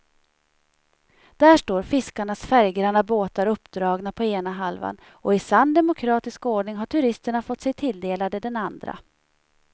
Där står fiskarnas färggranna båtar uppdragna på ena halvan och i sann demokratisk ordning har turisterna fått sig tilldelade den andra.